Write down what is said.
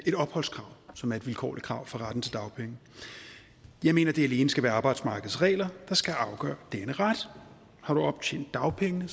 et opholdskrav som er et vilkårligt krav for retten til dagpenge jeg mener det alene skal være arbejdsmarkedets regler der skal afgøre denne ret har du optjent dagpengeret